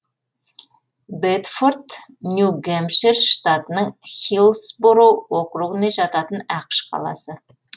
бэдфорд нью гэмпшир штатының хиллсбороу округіне жататын ақш қаласы